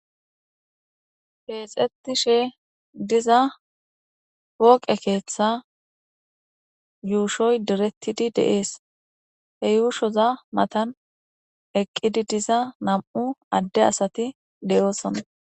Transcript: keexetishe diza pooqe keeththa yuushoy doretidi de'ees he yuushoza matan eqqidi diza nam'u adde asati de'oosona